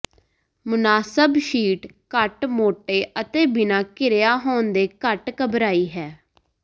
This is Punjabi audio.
ਮੁਨਾਸਬ ਸ਼ੀਟ ਘੱਟ ਮੋਟੇ ਅਤੇ ਬਿਨਾਂ ਘਿਰਿਆ ਹੋਣ ਦੇ ਘੱਟ ਘਬਰਾਈ ਹੈ